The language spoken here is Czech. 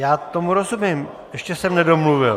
Já tomu rozumím, ještě jsem nedomluvil.